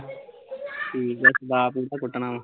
ਠੀਕ ਆ, ਦਾਅ ਪਈ ਤਾਂ ਕੁੱਟਣਾ ਵਾ